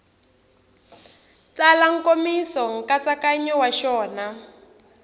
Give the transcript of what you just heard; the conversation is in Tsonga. tsala nkomiso nkatsakanyo wa xona